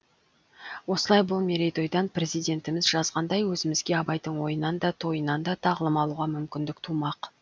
осылай бұл мерейтойдан президентіміз жазғандай өзімізге абайдың ойынан да тойынан да тағылым алуға мүмкіндік тумақ